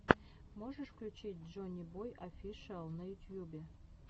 можешь включить джоннибой офишиал на ютьюбе